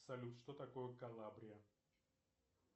салют что такое калабрия